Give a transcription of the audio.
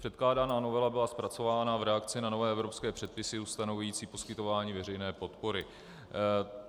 Předkládaná novela byla zpracována v reakci na nové evropské předpisy ustanovující poskytování veřejné podpory.